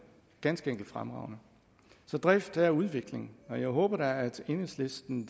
ganske enkelt fremragende så drift er udvikling og jeg håber da at enhedslisten